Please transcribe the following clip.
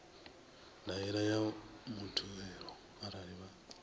ndaela ya muthelo arali vha